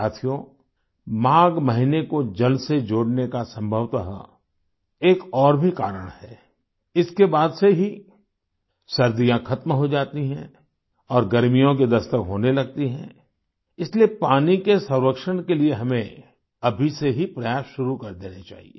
साथियो माघ महीने को जल से जोड़ने का संभवतः एक और भी कारण है इसके बाद से ही सर्दियाँ खत्म हो जाती हैं और गर्मियों की दस्तक होने लगती है इसलिए पानी के संरक्षण के लिये हमें अभी से ही प्रयास शुरू कर देने चाहिए